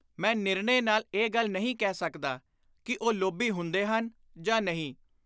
ਮੈਂ ਨਿਰਣੇ ਨਾਲ ਇਹ ਗੱਲ ਨਹੀਂ ਕਹਿ ਸਕਦਾ ਕਿ ਉਹ ਲੋਭੀ ਹੁੰਦੇ ਹਨ ਜਾਂ ਨਹੀਂ।